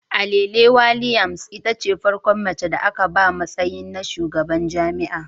Alele Williams itace farkon mace da aka ba matsayi na shugaban jami'a